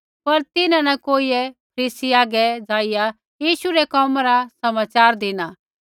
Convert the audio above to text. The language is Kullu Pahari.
पर तिन्हां न कोइयै फरीसी हागै जाईया यीशु रै कोमा रा समाचार धिना